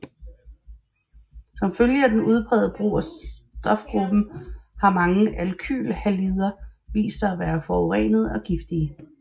Som følge af den udprægede brug af stofgruppen har mange alkylhalider vist sig at være forurenende og giftige